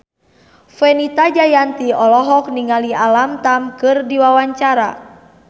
Fenita Jayanti olohok ningali Alam Tam keur diwawancara